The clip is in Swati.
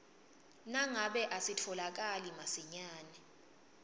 nangabe asitfolakali masinyane